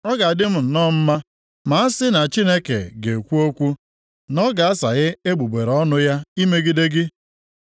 Ọ ga-adị m nnọọ mma ma a si na Chineke ga-ekwu okwu, na ọ ga-asaghe egbugbere ọnụ ya imegide gị.